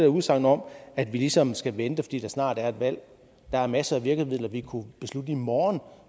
udsagn om at vi ligesom skal vente fordi der snart er et valg der er masser af virkemidler vi kunne beslutte i morgen